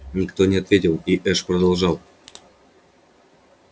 никто не ответил и эш продолжал